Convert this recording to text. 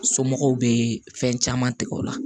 Somɔgɔw be fɛn caman tigɛ o la